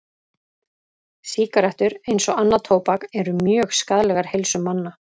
Sígarettur, eins og annað tóbak, eru mjög skaðlegar heilsu manna.